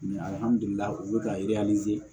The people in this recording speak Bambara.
u bɛ ka